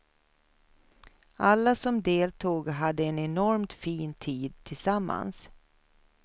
Alla som deltog hade en enormt fin tid tillsammans.